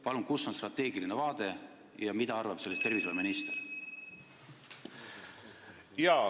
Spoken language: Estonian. Kus on siin strateegiline vaade ja mida arvab sellest tervishoiuminister?